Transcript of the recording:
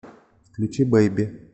включи бэйби